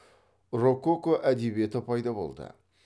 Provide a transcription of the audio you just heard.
рококо әдебиеті пайда болды